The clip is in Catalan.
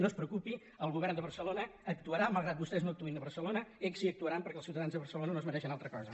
no es pre·ocupi el govern de barcelona actuarà malgrat que vostès no actuïn a barcelona ells sí que actuaran per·què els ciutadans de barcelona no es mereixen altra cosa